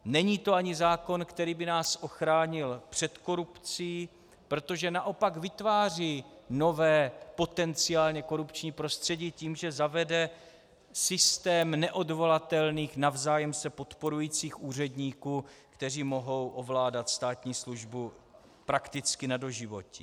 Není to ani zákon, který by nás ochránil před korupcí, protože naopak vytváří nové potenciálně korupční prostředí tím, že zavede systém neodvolatelných navzájem se podporujících úředníků, kteří mohou ovládat státní službu prakticky na doživotí.